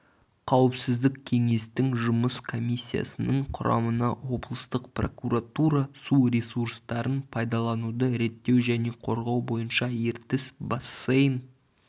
қауіпсіздік кеңестің жұмыс комиссиясының құрамына облыстық прокуратура су ресурстарын пайдалануды реттеу және қорғау бойынша ертіс бассейн